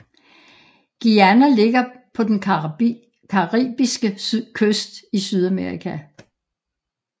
Guyana ligger på den caribiske kyst i Sydamerika